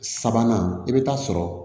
Sabanan i bɛ taa sɔrɔ